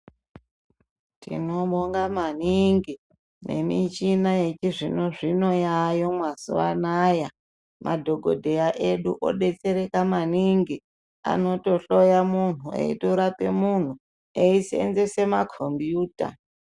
Tinobonga maningi michina yechizvino zvino yayo mazuva anawa madhokodheya edu odetsereka majingu anotohloya muntu eisenzesa makombiyuta.